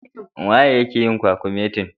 Wanene yake yin kwakumetin?